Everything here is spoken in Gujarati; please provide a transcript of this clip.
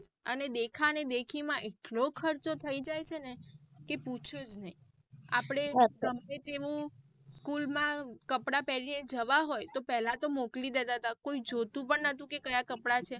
અને દેખા ને દેખી માં એટલો ખર્ચો થઇ જાય છેને કે પૂછો જ નહિ અપડે ગમે તેવું school માં કપડાં પહેરીને જવા હોય તો પેહલા તો મોકલી દેતા હતા કોઈ જોતું પણ નાતુ કે કાયા કપડાં છે.